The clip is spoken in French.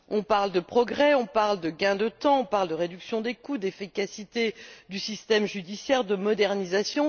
On parle de progrès, on parle de gain de temps, on parle de réduction des coûts d'efficacité du système judiciaire, de modernisation...